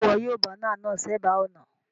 Sé wo yio banner náà sébàá ònà